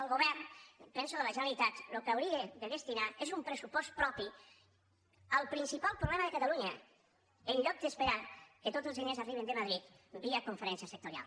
el govern penso de la generalitat el que hauria de destinar és un pressupost propi al principal problema de catalunya en lloc d’esperar que tots els diners arribin de madrid via conferència sectorial